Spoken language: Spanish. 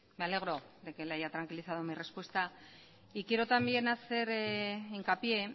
me alegro de que le hay tranquilizado mi respuesta quiero también hacer hincapié